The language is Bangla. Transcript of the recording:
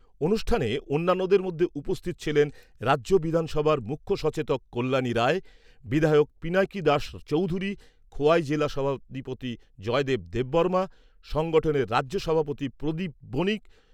অনুষ্ঠানে অন্যান্যদের মধ্যে উপস্থিত ছিলেন রাজ্য বিধানসভার মুখ্য সচেতক কল্যানী রায়, বিধায়ক পিনাকি দাস চৌধুরী, খোয়াই জেলা সভাধিপতি জয়দেব দেববর্মা, সংগঠনের রাজ্য সভাপতি প্রদীপ বনিক।